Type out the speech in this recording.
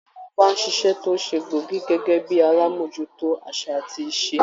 Àwọn ọba ń ṣíṣe tó ṣe gbóògì gẹ́gẹ́ bíi alámójútó àṣà àti ìṣe.